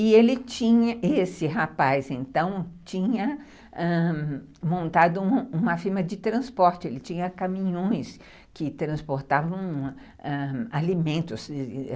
E ele tinha, esse rapaz tinha montado uma firma de transporte, ele tinha caminhões que transportavam alimentos em sacarias.